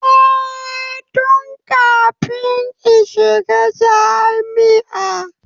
Eh, tun kafin in shiga jami'a